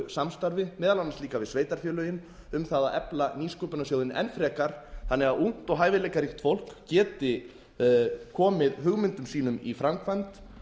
samstarfi meðal annars líka svið sveitarfélögin um það að efla nýsköpunarsjóðinn enn frekar þannig að ungt og hæfileikaríkt fólk geti komið hugmyndum sínum í framkvæmd